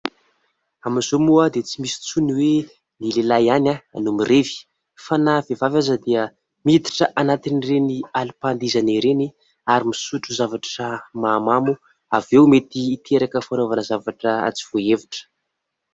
Amin'izao moa dia tsy misy intsony ny hoe : ny lehilahy ihany no mirevy fa na ny vehivavy aza dia miditra anatin'ireny alim-pandihizana ireny ary misotro zavatra mahamamo. Avy eo mety hiteraka fanaovana zavatra tsy voahevitra.